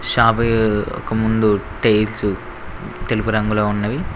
Shop ఒక ముందు tiles తెలుపు రంగులో ఉన్నవి.